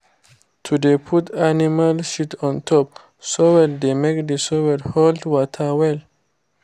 to dey put animal shit on top soil dey make the soil hold water well